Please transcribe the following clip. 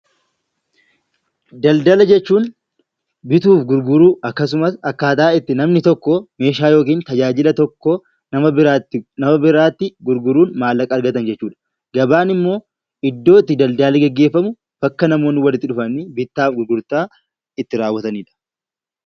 Daldala jechuun bituu fi gurguruu, akkaataa itti namni tokko meeshaa yookiin tajaajila tokko nama biraatti gurguruun maallaqa argatan jechuudha. Gabaan immoo iddoo itti daldalli gaggeeffamu, bakka namoonni walitti dhufanii bittaa fi gurgurtaa itti raawwatanidha.